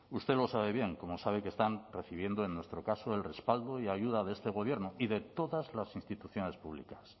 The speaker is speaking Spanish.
usted lo sabe bien como sabe que están recibiendo en nuestro caso el respaldo y ayuda de este gobierno y de todas las instituciones públicas